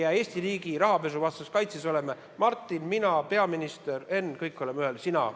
Ja Eesti riigi rahapesuvastases kaitses oleme Martin, mina, peaminister, Henn ja sina – kõik oleme ühel pool rindejoont.